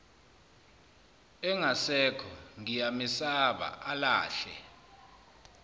engasekho ngiyamesaba alahle